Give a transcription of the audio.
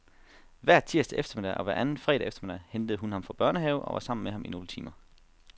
Hver tirsdag eftermiddag og hver anden fredag eftermiddag hentede hun ham fra børnehave og var sammen med ham i nogle timer.